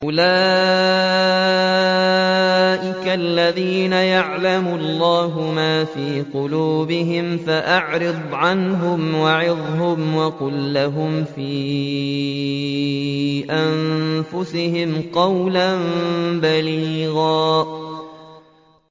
أُولَٰئِكَ الَّذِينَ يَعْلَمُ اللَّهُ مَا فِي قُلُوبِهِمْ فَأَعْرِضْ عَنْهُمْ وَعِظْهُمْ وَقُل لَّهُمْ فِي أَنفُسِهِمْ قَوْلًا بَلِيغًا